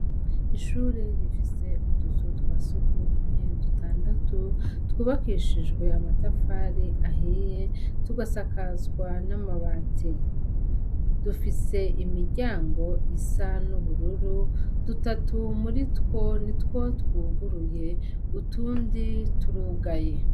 Ishure rifise utuzu twa sukumwe dutandatu twubakishijwe amatafari ahiye tugasakazwa n'amabati dufise imiryango isa n'ubururu dutatu muri two ni two twuguruye utundi turugaye.